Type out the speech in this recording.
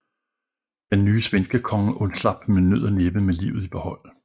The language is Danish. Den nye svenskekonge undslap med nød og næppe med livet i behold